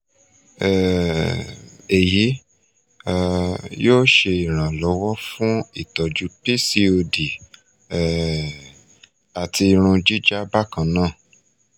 um eyi um yoo ṣe iranlọwọ fun itọju pcod um ati irun jija bakanna